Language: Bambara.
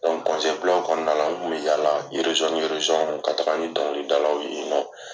kɔnɔna la , u kun bi yala ni ka taga ni dɔnkilidalaw ye yen nɔn.